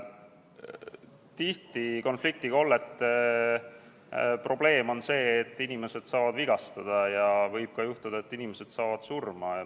Tihti on konfliktikollete probleem see, et inimesed saavad vigastada ja võib ka juhtuda, et inimesed saavad surma.